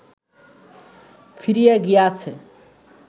ফিরিয়া গিয়াছে